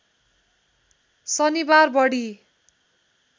शनिबार बढी